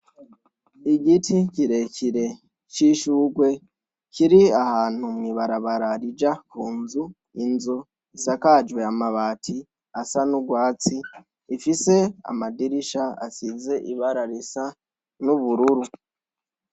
Igiti kirekire c'ishurwe kiri ahantu mwi barabara rija ku nzu. Inzu isakajwe amabati asa n'urwatsi, ifise amadirisha asize ibara risa n'ubururu.